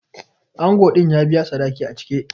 Ango din ya biya sadaki a cike.